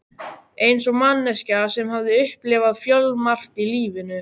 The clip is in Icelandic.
Eins og manneskja sem hafði upplifað fjölmargt í lífinu.